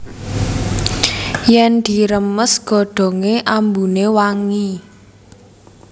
Yèn diremes godhongé ambuné wangi